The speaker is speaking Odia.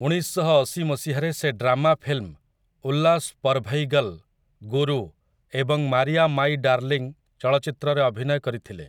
ଉଣେଇଶଶହଅଶି ମସିହାରେ ସେ ଡ୍ରାମା ଫିଲ୍ମ 'ଉଲ୍ଲାସ ପରଭୈଗଲ୍', 'ଗୁରୁ' ଏବଂ 'ମାରିଆ ମାଇ ଡାର୍ଲିଙ୍ଗ୍' ଚଳଚ୍ଚିତ୍ରରେ ଅଭିନୟ କରିଥିଲେ ।